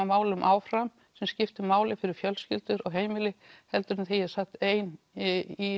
málum áfram sem skiptu máli fyrir fjölskyldur og heimili heldur en þegar ég sat ein í